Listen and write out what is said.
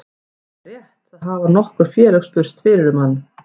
Það er rétt, það hafa nokkur félög spurst fyrir um hann.